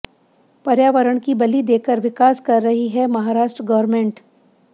पर्यावरण की बलि देकर विकास कर रही है महाराष्ट्र गवर्नमेंट